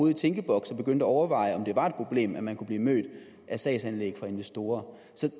i tænkeboks og begyndte at overveje om det var et problem at man kunne blive mødt af sagsanlæg fra investorer